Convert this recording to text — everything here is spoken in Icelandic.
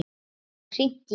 Hún hafði hringt í